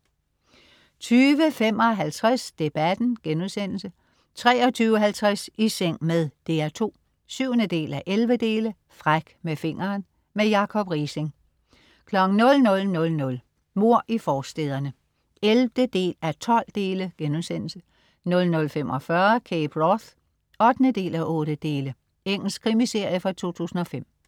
22.55 Debatten* 23.50 I seng med DR2. 7:11 Fræk med fingeren. Jakob Riising 00.00 Mord i forstæderne 11.12* 00.45 Cape Wrath 8:8. Engelsk krimiserie fra 2005